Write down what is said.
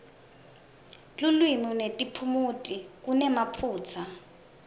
lulwimi netiphumuti kunemaphutsa